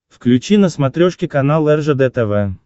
включи на смотрешке канал ржд тв